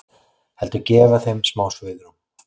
Heldur gefa þeim smá svigrúm.